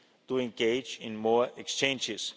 to engage in more exchanges.